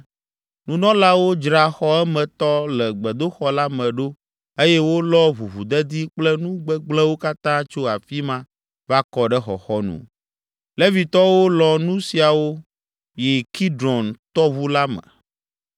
Nunɔlawo dzra xɔ emetɔ le gbedoxɔ la me ɖo eye wolɔ ʋuʋudedi kple nu gbegblẽwo katã tso afi ma va kɔ ɖe xɔxɔnu. Levitɔwo lɔ nu siawo yi Kidron tɔʋu la me.